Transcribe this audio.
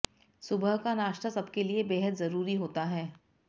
सुबह का नाश्ता सबके लिए बेहद जरुरी होता है